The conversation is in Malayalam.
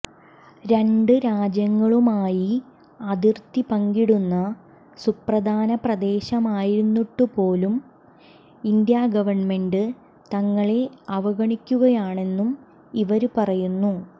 രണ്ട് രാജ്യങ്ങളുമായി അതിര്ത്തി പങ്കിടുന്ന സുപ്രധാന പ്രദേശമായിരുന്നിട്ടുപോലും ഇന്ത്യാഗവണ്മെന്റ് തങ്ങളെ അവഗണിക്കുകയാണെന്നും ഇവര് പറയുന്നു